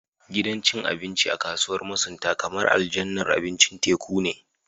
Gidan cin abinci a kasuwar masunta kamar aljannar abincin teku ne